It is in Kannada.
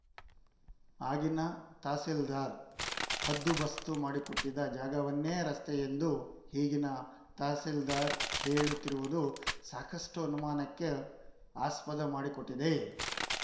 ಆಗಿನ ತಹಸೀಲ್ದಾರ್‌ ಹದ್ದುಬಸ್ತು ಮಾಡಿಕೊಟ್ಟಿದ್ದ ಜಾಗವನ್ನೇ ರಸ್ತೆಯೆಂದು ಈಗಿನ ತಹಸೀಲ್ದಾರ್‌ ಹೇಳುತ್ತಿರುವುದು ಸಾಕಷ್ಟುಅನುಮಾನಕ್ಕೂ ಆಸ್ಪದ ಮಾಡಿಕೊಟ್ಟಿದೆ